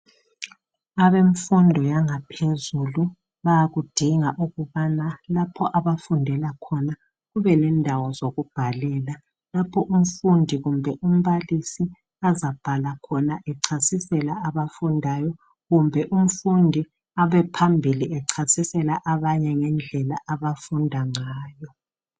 abemfundo yangaphezulu bayakudinga ukuthi lapha abafundela khona kube landawo zokubhalela lapha umfundi, umbalisi azabhala khona ecasisela abafundayo kumbe umfundi abe phambili acasisela a banye ngendlela abafunda ngayo